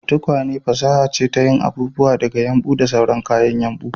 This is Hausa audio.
Tukwane fasaha ce ta yin abubuwa daga yumbu da sauran kayan yumbu